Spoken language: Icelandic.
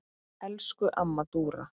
Elsku amma Dúra.